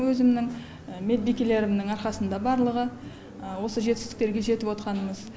өзімнің медбикелерімнің арқасында барлығы осы жетістіктерге жетіп отқанымыз